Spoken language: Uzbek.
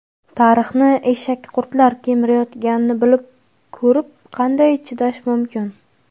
Tarixni eshakqurtlar kemirayotganini bilib ko‘rib qanday chidash mumkin?.